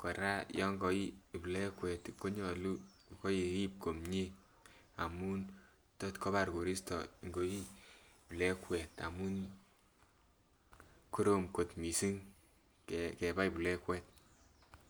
kora yon koii plegwet konyolu ko irib komie amun tot kobar koristo ngoii plegwet amun korom kot missing ke kebai plegwet